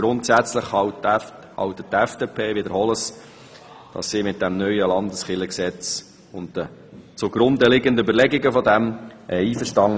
Grundsätzlich ist die FDP mit dem neuen Landeskirchengesetz und den Überlegungen, die diesem zugrunde liegen, einverstanden.